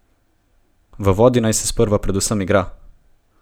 V vodi naj se sprva predvsem igra!